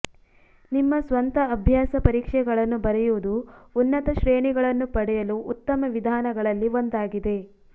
ನಿಮ್ಮ ಸ್ವಂತ ಅಭ್ಯಾಸ ಪರೀಕ್ಷೆಗಳನ್ನು ಬರೆಯುವುದು ಉನ್ನತ ಶ್ರೇಣಿಗಳನ್ನು ಪಡೆಯಲು ಉತ್ತಮ ವಿಧಾನಗಳಲ್ಲಿ ಒಂದಾಗಿದೆ